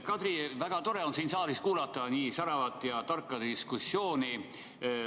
Kadri, väga tore on siin saalis kuulata nii säravat ja tarka diskussiooni.